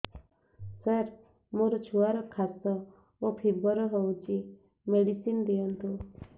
ସାର ମୋର ଛୁଆର ଖାସ ଓ ଫିବର ହଉଚି ମେଡିସିନ ଦିଅନ୍ତୁ